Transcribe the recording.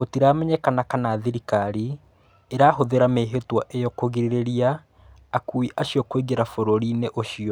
Gũtiramenyekana kana thĩrikari ĩrahũthĩra mĩhĩtwa ĩo kũrigĩrĩria akui acio kũingĩra bũrũrinĩ ũcio.